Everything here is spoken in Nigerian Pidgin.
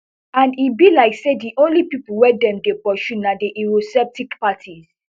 and e be like say di only pipo wey dem dey pursue na di eurosceptic parties